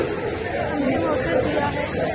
का यह अंतिम अवसर दिया है